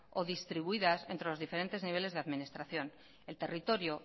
o distribuidas entre los diferentes niveles de administración el territorio